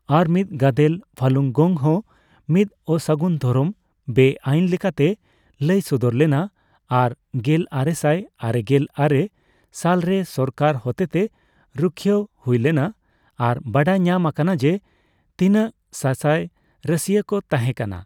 ᱟᱨ ᱢᱤᱫ ᱜᱟᱫᱮᱞ, ᱯᱷᱟᱞᱩᱝᱜᱚᱝᱼᱦᱚᱸ, ᱢᱤᱫ ''ᱚᱥᱟᱹᱜᱩᱱ ᱫᱷᱚᱨᱚᱢ'' ᱵᱮ ᱟᱭᱤᱱ ᱞᱮᱠᱟᱛᱮ ᱞᱟᱹᱭ ᱥᱚᱫᱚᱨ ᱞᱮᱱᱟ, ᱟᱨ ᱜᱮᱞᱟᱨᱮᱥᱟᱭ ᱟᱨᱮᱜᱮᱞ ᱟᱨᱮ ᱥᱟᱞᱨᱮ ᱥᱚᱨᱠᱟᱨ ᱦᱚᱛᱮᱛᱮ ᱨᱩᱠᱷᱤᱭᱟᱹᱣ ᱦᱩᱭ ᱞᱮᱱᱟ, ᱟᱨ ᱵᱟᱰᱟᱭ ᱧᱟᱢ ᱟᱠᱟᱱᱟ ᱡᱮ ᱛᱤᱱᱟᱹᱜ ᱥᱟᱥᱟᱭ ᱨᱟᱹᱥᱤᱭᱟᱹ ᱠᱚ ᱛᱟᱸᱦᱮ ᱠᱟᱱᱟ ᱾